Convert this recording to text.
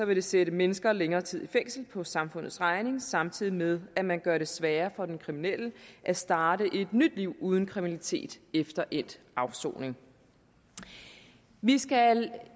det vil sætte mennesker længere tid i fængsel på samfundets regning samtidig med at man gør det sværere for den kriminelle at starte et nyt liv uden kriminalitet efter endt afsoning vi skal